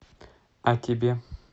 а тебе